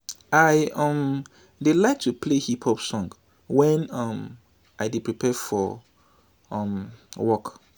i um dey like to play hip hop song wen um i dey prepare for um work